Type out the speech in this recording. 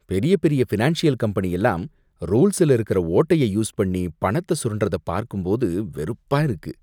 பெரிய பெரிய financial company எல்லாம் ரூல்ஸ்ல இருக்கிற ஓட்டைய யூஸ் பண்ணி பணத்த சுரண்டுறத பார்க்கும்போது வெறுப்பா இருக்கு.